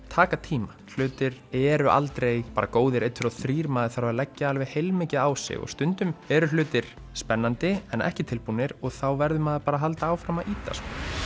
taka tíma hlutir eru aldrei góðir einn tveir og þrír maður þarf að leggja alveg heilmikið á sig og stundum eru hlutir spennandi en ekki tilbúnir og þá verður maður bara að halda áfram að ýta